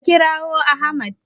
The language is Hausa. A kirawo Ahmad!